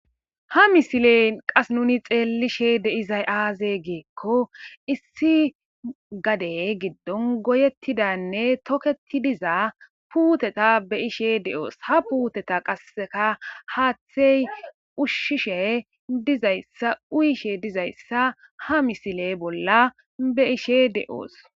ha misiley qas nuni xeelishe deizay aaze geekko issi gadey giddon goyettidanne toketi dizaa puuteta be ishe de7oos ha puuteta qasseka haaththey ushshishe dizayssa uyishe dizayssa ha misile bolla be ishe de7oos